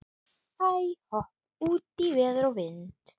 Hæ-hopp út í veður og vind.